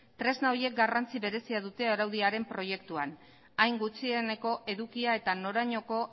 tresna horiek garrantzi berezia dute araudiaren proiektuak hain gutxieneko edukia eta norainoko